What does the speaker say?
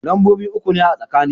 Lambobi uku ne a tsakani.